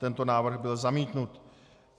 Tento návrh byl zamítnut.